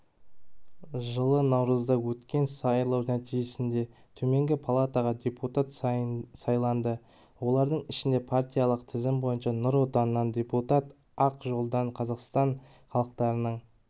жылы наурызда өткен сайлау нәтижесінде төменгі палатаға депутат сайланды олардың ішінде партиялық тізім бойынша нұр отаннан депутат ақ жолдан қазақстан халықтарының